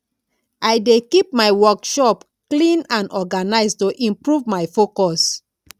i dey keep my workspace clean and organized to improve my focus